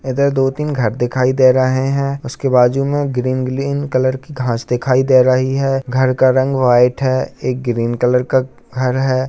इधर दो तीन घर दिखाई दे रहें हैं उसके बाजू में ग्रीन ग्रीन कलर के घांस दिखाई दे रही है घर का रंग वाइट है एक ग्रीन कलर का घर है।